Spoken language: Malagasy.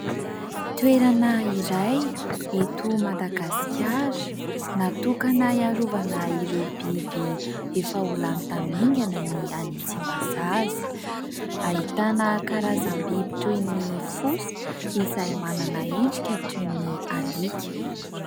Toerana iray eto Madagasikara natokana hiarovana ireo biby efa ho lany tamingana ny any Tsimbazaza, ahitana karazam-biby toy ny fosa izay manana endrika toy ny alika.